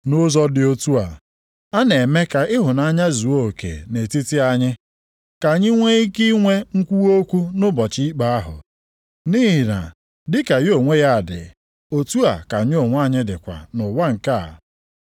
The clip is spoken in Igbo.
Nʼụzọ dị otu a, a na-eme ka ịhụnanya zuo oke nʼetiti anyị, ka anyị nwee ike inwe nkwuwa okwu nʼụbọchị ikpe ahụ, nʼihi na dịka ya onwe ya dị, otu a ka anyị onwe anyị dịkwa nʼụwa nke a.